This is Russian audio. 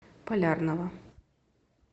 полярного